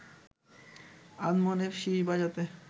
আনমনে শিস বাজাতে